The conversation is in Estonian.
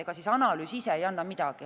Ega analüüs ise ei anna midagi.